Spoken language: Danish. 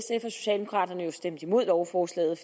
socialdemokraterne jo stemte imod lovforslaget